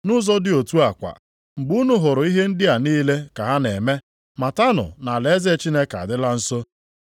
Nʼụzọ dị otu a kwa, mgbe unu hụrụ ihe ndị a niile ka ha na-eme, matanụ na alaeze Chineke adịla nso.